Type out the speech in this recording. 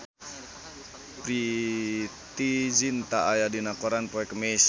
Preity Zinta aya dina koran poe Kemis